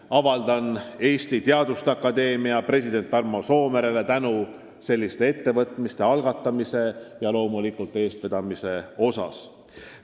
Avaldan Eesti Teaduste Akadeemia presidendile Tarmo Soomerele tänu selliste ettevõtmiste algatamise ja loomulikult eestvedamise eest!